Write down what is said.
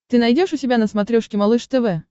ты найдешь у себя на смотрешке малыш тв